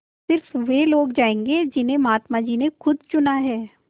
स़िर्फ वे लोग जायेंगे जिन्हें महात्मा जी ने खुद चुना है